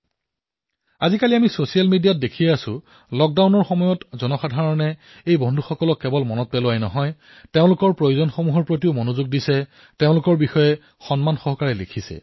আজিকালি ছচিয়েল মিডিয়াত আমি সকলোৱে প্ৰায়েই দেখিবলৈ পাইছো যে লকডাউনৰ সময়ছোৱাত আমি কেৱল এই বন্ধুবান্ধৱসকলক সোঁৱৰণ কৰাই নহয় তেওঁলোকৰ প্ৰয়োজনীয়তাসমূহৰ ওপৰতো ধ্যান ৰাখিছো তেওঁলোকৰ বিষয়ে বহু সন্মানেৰে লিখিছো